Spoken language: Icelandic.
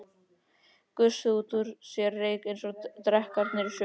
Gusuðu út úr sér reyk eins og drekarnir í sögunum.